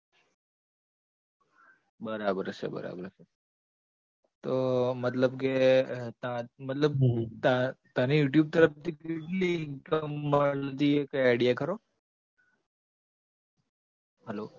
બરાબર છે બરાબર છે તો મતલબ કે મતલબ તને youtube તરફથી કેટલી income મળતી કંઈ idea ખરો hello